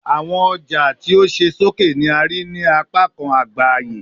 Awọn ọja ti o ṣe soke ni a rii ni apakan agba aye